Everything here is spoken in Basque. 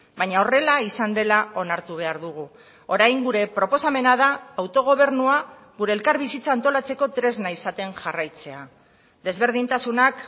baina horrela izan dela onartu behar dugu orain gure proposamena da autogobernua gure elkarbizitza antolatzeko tresna izaten jarraitzea desberdintasunak